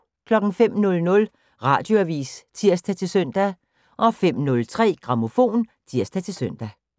05:00: Radioavis (tir-søn) 05:03: Grammofon (tir-søn)